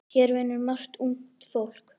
Hér vinnur margt ungt fólk.